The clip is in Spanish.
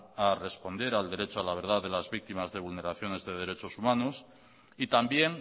a responder al derecho a la verdad de las víctimas de vulneraciones de derechos humanos y también